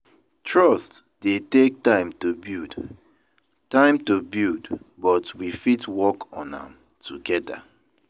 Trust dey take time to build, time to build, but we fit work on am together.